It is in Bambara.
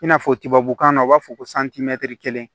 I n'a fɔ tubabukan na u b'a fɔ ko kelen